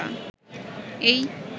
এই